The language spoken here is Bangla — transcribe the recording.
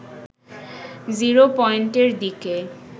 জিরো পয়েন্টের দিকে